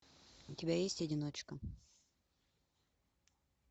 у тебя есть одиночка